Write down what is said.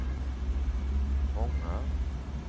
fångar